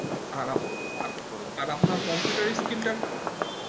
আর আপনার computer Skill টা